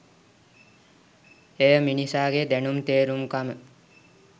එය මිනිසාගේ දැනුම් තේරුම්කම